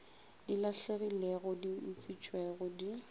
di lahlegilego di utswitšwego di